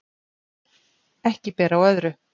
Ekki ber á öðru